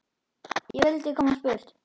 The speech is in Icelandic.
Ég vildi komast burt.